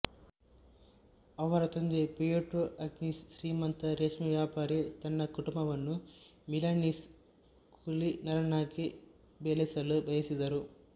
ಅವರ ತಂದೆ Pietro Agnesi ಶ್ರೀಮಂತ ರೇಷ್ಮೆ ವ್ಯಾಪಾರಿ ತನ್ನ ಕುಟುಂಬವನ್ನು ಮಿಲನೀಸ್ ಕುಲೀನರನ್ನಾಗಿ ಬೆಳೆಸಲು ಬಯಸಿದ್ದರು